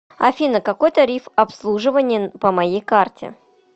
афина какой тариф обслуживание по моей карте